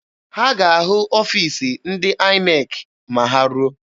Ha ga-ahụ ọfiisi ndị INEC ma ha ruo.